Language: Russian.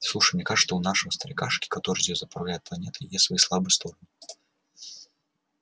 слушай мне кажется что у нашего старикашки который здесь заправляет планетой есть свои слабые стороны